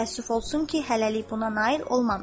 Təəssüf olsun ki, hələlik buna nail olmamışam.